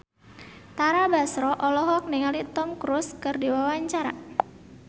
Tara Basro olohok ningali Tom Cruise keur diwawancara